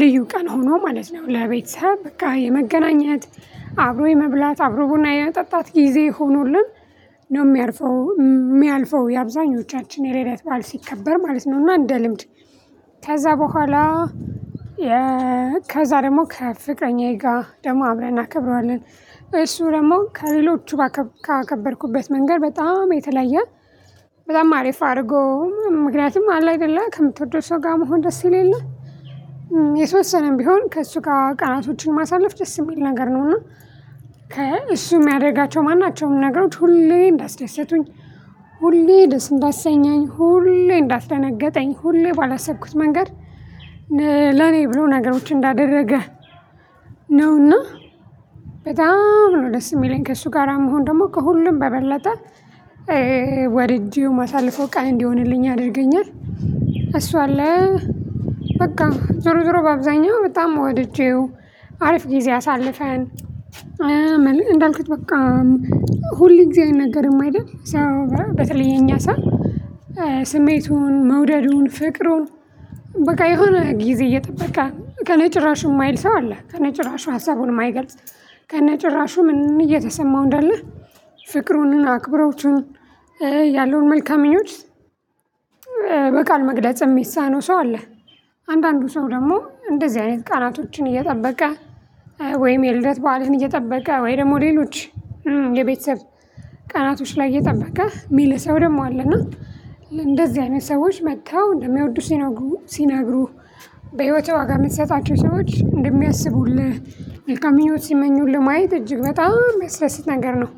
ልዩ ቀን ሆኖ ማለት ነው። ለቤተሰብ በቃ የመገናኘት አብሮ የመብላት አብሮ ቡና የመጠጣት ጊዜ ሆኖልን። ነው የሚያርፈው የሚያልፈው የአብዛኞቻችን የሌደት በዓል ሲከበር ማለት ነው። እና እንደ ልምድ ከዛ በኋላ። ከዛ ደግሞ ከፍቅረኛዬ ጋር ደግሞ አብረን እናከብረዋለን። እሱ ደግሞ ከሌሎቹ ካከበርኩበት መንገድ በጣም የተለየ። በጣም አሪፍ አድርጎ ምክንያቱም አለ አይደለ ከምትወደው ሰው ጋር መሆን ደስ ይል የለ? የተወሰነም ቢሆን ከእሱ ጋር ቀናቶችን ማሳለፍ ደስ የሚል ነገር ነው። እና እሱ የሚያደርጋቸው ማናቸውም ነገሮች ሁሌ እንዳስደሰቱኝ ሁሌ ደስ እንዳሰኛኝ ሁሌ እንዳስደነገጠኝ ሁሌ ባላሰብኩት መንገድ። ለኔ ብሎ ነገሮችን እንዳደረገ ነውና። በጣም ነው ደስ የሚለኝ ከእሱ ጋራ መሆን ደግሞ ከሁሉም በበለጠ። ወድጄው ማሳለፈው ቀን እንዲሆንልኝ ያደርገኛል እሱ አለ። በቃ ዞሮ ዞሮ በአብዛኛው በጣም ወድጄው አሪፍ ጊዜ አሳልፈን። እንዳልክት በቃ ሁል ጊዜ አይነገርም አይደል? ሰው በተለየ የኛ ሰው ስሜቱን መውደዱን ፍቅሩን በቃ የሆነ ጊዜ እየጠበቃ ከነጭራሹ የማይል ሰው አለ ከነጭራሹ ሀሳቡን የማይገልጽ። ከነጭራሹ ምን እየተሰማው እንዳለ ፍቅሩንና አክብሮቱን ያለውን መልካም ምኞት በቃል መግለጽ የሚሳነው ሰው አለ። አንዳንዱ ሰው ደግሞ እንደዚህ አይነት ቃላቶችን እየጠበቀ ወይም የልደት በዓልን እየጠበቀ ወይ ደግሞ ሌሎች የቤተሰብ ቀናቶች ላይ እየጠበቀ የሚል ሰው ደግሞ አለና። እንደዚህ አይነት ሰዎች መጥተው እንደሚወዱ ሲነግሩ ሲነግሩ በህይወትህ ዋጋ የምትሰጣቸው ሰዎች እንደሚያስቡልህ በቃ ምኞት ሲመኙልህ ማየት እጅግ በጣም የሚያስደስት ነገር ነው